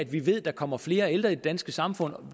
vi ved at der kommer flere ældre i det danske samfund og